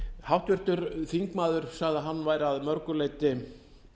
háttvirtur þingmaður sagði að hann væri að mörgu leyti